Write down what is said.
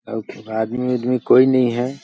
अउ फिर आदमी - उदमी कोई नइ हैं।